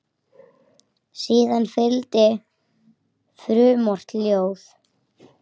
Síðan fylgdi frumort ljóð.